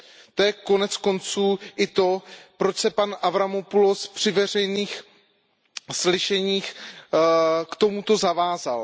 To je konec konců i to, proč se pan Avramopoulos při veřejných slyšeních k tomuto zavázal.